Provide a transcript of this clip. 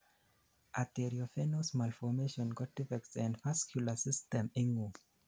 arteriovenous malformations ko defects en vascular system ingung